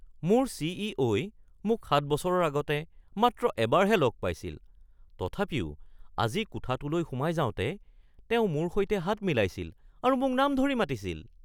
মোৰ চি.ই.অ.ই মোক ৭ বছৰৰ আগতে মাত্ৰ এবাৰহে লগ পাইছিল, তথাপিও আজি কোঠাটোলৈ সোমাই যাওঁতে তেওঁ মোৰ সৈতে হাত মিলাইছিল আৰু মোক নাম ধৰি মাতিছিল।